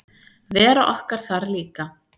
Vera okkar þar líka.